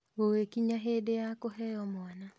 Gũgĩkinya hĩndĩ ya kũheo mwana,